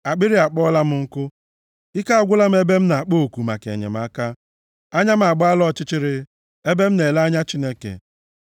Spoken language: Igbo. Akpịrị akpọọla m nkụ; ike agwụla m ebe m na-akpọ oku maka enyemaka. Anya m agbaala ọchịchịrị ebe m na-ele anya Chineke. + 69:3 \+xt Abụ 119:82,123\+xt*